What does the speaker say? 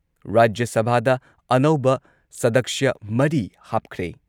ꯔꯥꯖ꯭ꯌ ꯁꯚꯥꯗ ꯑꯅꯧꯕ ꯁꯗꯛꯁ꯭ꯌ ꯃꯔꯤ ꯍꯥꯞꯈ꯭ꯔꯦ ꯫